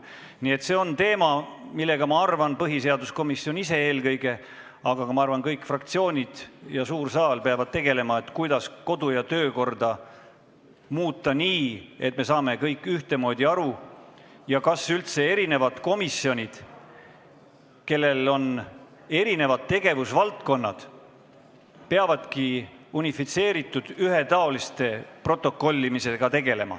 Nii et see on teema, millega minu arvates peab tegelema eelkõige põhiseaduskomisjon ise, aga ka kõik fraktsioonid ja suur saal peavad sellega tegelema – kuidas muuta kodu- ja töökorda nii, et me saaksime sellest kõik ühtemoodi aru, ning kas eri tegevusvaldkondade komisjonid üldse peavadki protokollima unifitseeritult, ühetaoliselt?